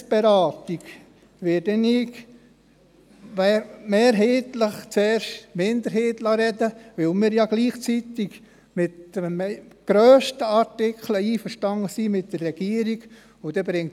Bei der Gesetzesberatung werde ich mehrheitlich zuerst die Minderheit sprechen lassen, da wir ja gleichzeitig bei den grössten Artikeln mit der Regierung einverstanden sind.